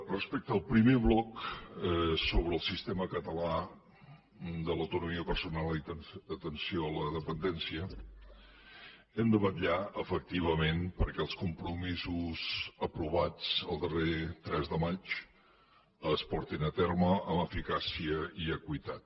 respecte al primer bloc sobre el sistema català de l’autonomia personal i atenció a la dependència hem de vetllar efectivament perquè els compromisos aprovats el darrer tres de maig es portin a terme amb eficàcia i equitat